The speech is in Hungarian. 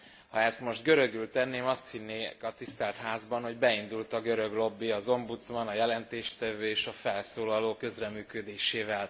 Ha ezt most görögül tenném, azt hinnék a Tisztelt Házban, hogy beindult a görög lobby az ombudsman, a jelentéstevő és a felszólalók közreműködésével.